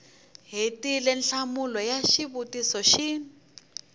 hetile nhlamulo ya xivutiso xin